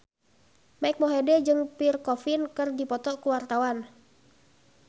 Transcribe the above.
Mike Mohede jeung Pierre Coffin keur dipoto ku wartawan